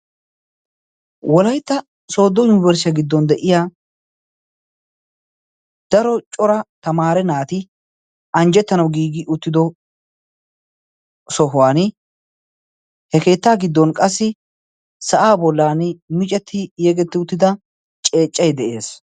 wolaitta soodo yuniberssiya giddon de7iya daro cora tamaare naati anjjettanau giigi uttido sohuwan he keettaa giddon qassi sa7aa bollan micetti yegetti uttida ceeccai de7ees